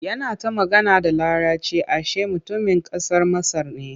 Yana ta magana da Laraci ashe mutumin ƙasar Masar ne.